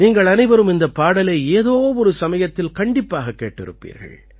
நீங்கள் அனைவரும் இந்தப் பாடலை ஏதோ ஒரு சமயத்தில் கண்டிப்பாகக் கேட்டிருப்பீர்கள்